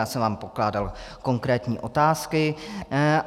Já jsem vám pokládal konkrétní otázky.